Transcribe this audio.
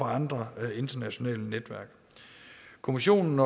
andre internationale netværk kommissionen